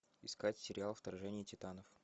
искать сериал вторжение титанов